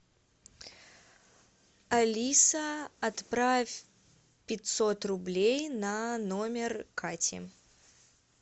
алиса отправь пятьсот рублей на номер кати